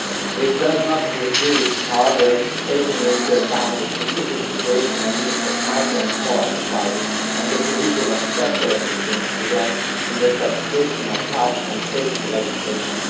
This does not preclude however, taking into account the specific situation and needs of micro and small enterprises and the provision of special assistance to them in the implantation of health and safety legislation.